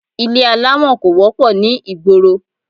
Ilé alámọ̀ kò wọ́pọ̀ ní ìgboro